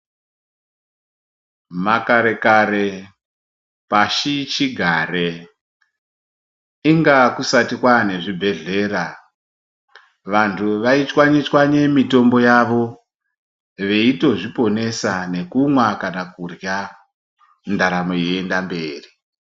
Makara kare pashi chigare inga kusati kwane zvibhedhlera vantu vaitshwanya tswanya mitombo yawo veitozviponesa nekumwa kana kurya daramo yeienda mberi.